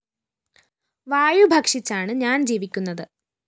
വായു ഭക്ഷിച്ചാണ് ഞാന്‍ ജീവിക്കുന്നത്